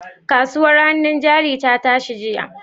Kasuwar hannun jari ta tashi jiya?